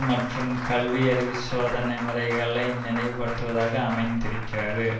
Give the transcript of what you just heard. மற்றும் கல்வியறிவுச் சோதனை முறைகளை நினைவுபடுத்துவதாக அமைந்திருக்கிறது